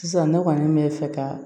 Sisan ne kɔni bɛ fɛ ka